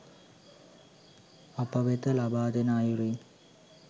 අප වෙත ලබාදෙන අයුරු